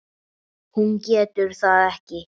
Hún getur það ekki.